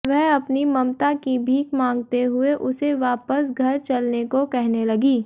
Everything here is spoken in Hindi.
वह अपनी ममता की भीख मांगते हुए उसे वापस घर चलने को कहने लगी